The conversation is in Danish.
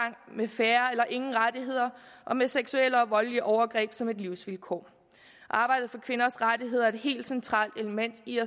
med færre eller ingen rettigheder og med seksuelle og voldelige overgreb som et livsvilkår arbejdet for kvinders rettigheder er et helt centralt element i